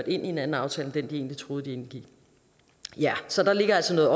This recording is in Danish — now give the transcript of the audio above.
i en anden aftale end den de egentlig troede de indgik så der ligger altså noget